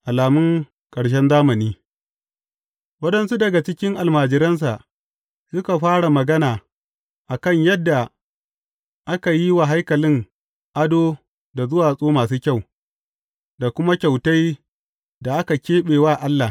Alamun ƙarshen zamani Waɗansu daga cikin almajiransa, suka fara magana a kan yadda aka yi wa haikalin ado da duwatsu masu kyau, da kuma kyautai da aka keɓe wa Allah.